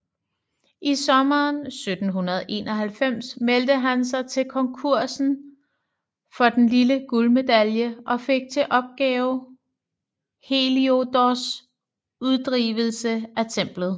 I sommeren 1791 meldte han sig til konkursen for den lille guldmedalje og fik til opgave Heliodors Uddrivelse af Templet